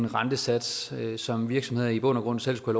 rentesats som virksomheder i bund og grund selv skulle